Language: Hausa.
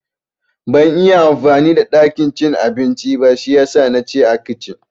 Bazan iya amfani da ɗakin cin abincin ba shiyasa na ci a kicin